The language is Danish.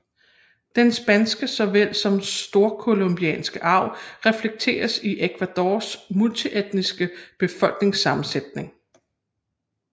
Den spanske såvel som storcolombianske arv reflekteres i Ecuadors multietniske befolkningssammensætning